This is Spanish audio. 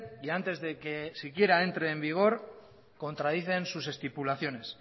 y antes de que siquiera entre en vigor contradicen sus estipulaciones